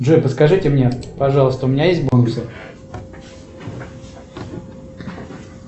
джой подскажите мне пожалуйста у меня есть бонусы